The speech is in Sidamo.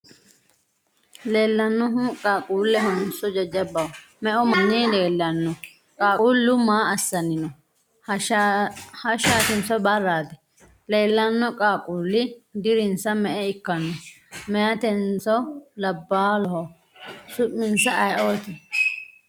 Leellannohu qaaqquullehonso jajjabbaho? Me''u manni leellanno? Qaaqquullu maa assanni no? Hashshaatinso barraati? Leellanno qaaqquulli dirinsa me'e ikkanno? Meyatenso labballoho? Su'minsano ayeeooti?